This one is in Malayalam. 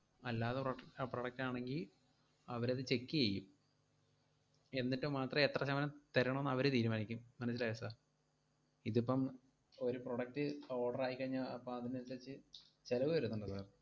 അല്ലാതെ prod~ അഹ് product ആണെങ്കി, അവരത് check ചെയ്യും എന്നിട്ട് മാത്രേ എത്ര ശതമാനം തരണോന്ന് അവര് തീരുമാനിക്കും. മനസ്സിലായോ sir? ഇതിപ്പം ഒരു product order ആയിക്കഴിഞ്ഞാ അപ്പം അതിനനുസരിച്ച് ചെലവ്‌ വരുന്നൊണ്ടല്ലോ.